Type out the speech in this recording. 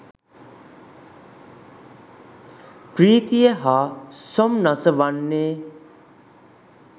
ප්‍රීතිය හා සොම්නස වන්නේ